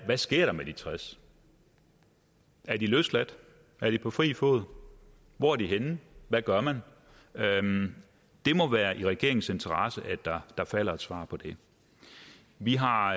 der sker med de tres er de løsladt er de på fri fod hvor er de henne hvad gør man det må være i regeringens interesse at der falder et svar på det vi har